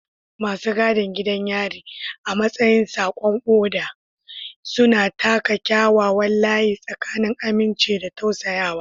Masu gadin gidan yari, a matsayin saƙon oda, suna taka kyakkyawan layi tsakanin aminci da tausayawa.